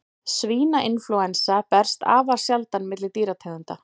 Svínainflúensa berst afar sjaldan milli dýrategunda.